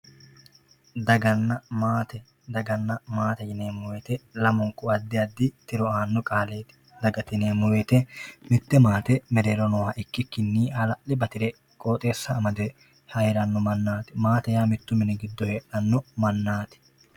daganna maate daganna maate yineemmo wote lamunku addi addi tiro aanno qaaleeti dagate yineemmo wote mite maate mereero noo ikkikinni hala'kle batire qooxeessa amade heeranno mannaati maate yaa mittu mini giddo heeranno mannaati.